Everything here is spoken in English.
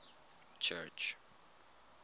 church